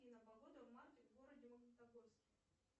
афина погода в марте в городе магнитогорске